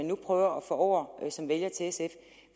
nu prøver at få som vælgere